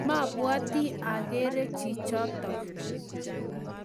mabwoti agere chichotok